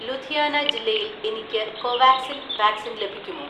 ലുധിയാന ജില്ലയിൽ എനിക്ക് കോവാക്സിൻ വാക്‌സിൻ ലഭിക്കുമോ?